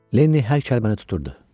Lenni hər kəlməni tuturdu.